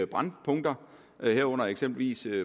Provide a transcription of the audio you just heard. brændpunkter herunder eksempelvis